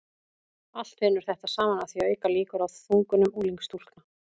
allt vinnur þetta saman að því að auka líkur á þungunum unglingsstúlkna